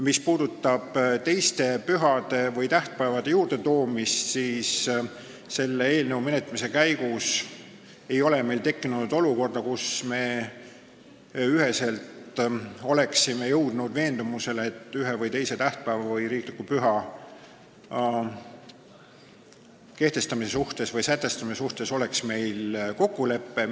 Mis puudutab teiste pühade või tähtpäevade juurde toomist, siis selle eelnõu menetlemise käigus ei ole meil tekkinud olukorda, kus me oleksime jõudnud ühisele veendumusele, et ühe või teise tähtpäeva või riikliku püha seaduses sätestamise suhtes oleks meil kokkulepe.